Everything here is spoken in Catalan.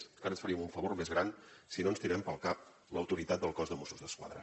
encara ens faríem un favor més gran si no ens tirem pel cap l’autoritat del cos de mossos d’esquadra